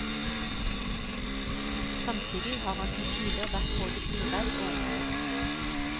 Samtidig har han til tider vært både uredd og omstridt.